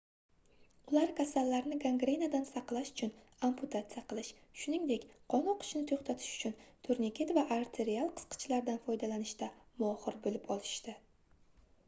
ular kasallarni gangrenadan saqlash uchun amputatsiya qilish shuningdek qon oqishini toʻxtatish uchun turniket va arterial qisqichlardan foydalanishda mohir boʻlib olishdi